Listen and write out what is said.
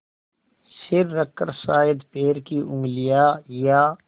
सिर रखकर शायद पैर की उँगलियाँ या